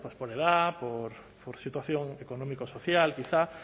pues por edad por situación económica o social quizá